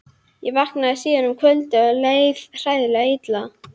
Ég vaknaði síðar um kvöldið og leið hræðilega illa.